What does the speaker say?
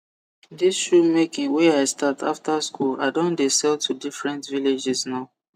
dis shoe making wey i start after school i don de sell to different villages now